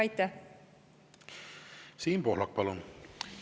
Siim Pohlak, palun!